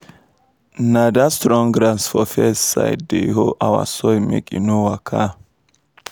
na dat strong grass for fence side dey hold our soil make e no waka.